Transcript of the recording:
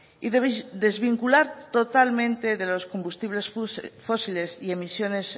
y desvincular totalmente de los combustibles fósiles y emisiones